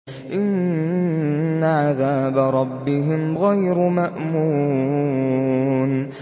إِنَّ عَذَابَ رَبِّهِمْ غَيْرُ مَأْمُونٍ